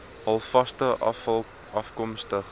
halfvaste afval afkomstig